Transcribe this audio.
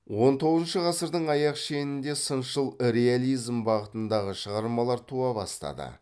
он тоғызыншы ғасырдың аяқ шенінде сыншыл реализм бағытындағы шығармалар туа бастады